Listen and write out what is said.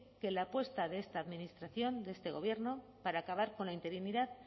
que la apuesta de esta administración de este gobierno para acabar con la interinidad